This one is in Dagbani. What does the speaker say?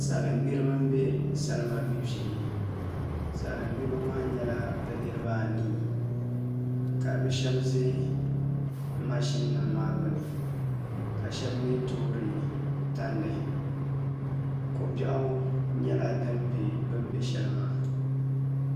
Salin gbiribi n bɛ salima gbibu shee salin gbiribi maa nyɛla bi niraba anii ka bi shab ʒɛ mashin nim maa gbuni ka shab mii toori tandi ko biɛɣu nyɛla din bɛ bini toori shɛli maa